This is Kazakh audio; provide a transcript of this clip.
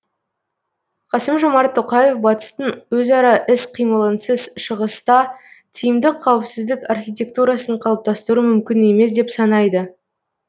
қасым жомарт тоқаев батыстың өзара іс қимылынсыз шығыста тиімді қауіпсіздік архитектурасын қалыптастыру мүмкін емес деп санайды